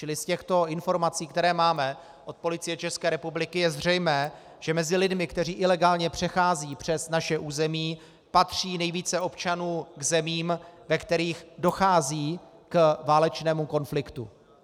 Čili z těchto informací, které máme od Policie České republiky, je zřejmé, že mezi lidmi, kteří ilegálně přecházejí přes naše území, patří nejvíce občanů k zemím, ve kterých dochází k válečnému konfliktu.